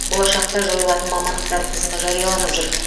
болашақта жойылатын мамандықтар тізімі жарияланып жүр